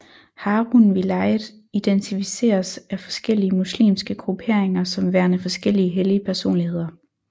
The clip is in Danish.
Harun Vilayet identificeres af forskellige muslimske grupperinger som værende forskellige hellige personligheder